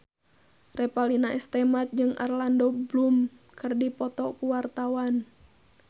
Revalina S. Temat jeung Orlando Bloom keur dipoto ku wartawan